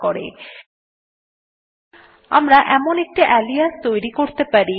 আমরা একটি আলিয়াস তৈরী করতে পারি আলিয়াস আরএম সমান চিন্হ quote এর মধ্যে এখন আরএম স্পেস হাইফেন i লিখুন